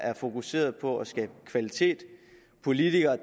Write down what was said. er fokuseret på at skabe kvalitet politikere